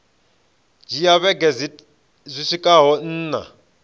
dzhia vhege dzi swikaho nṋa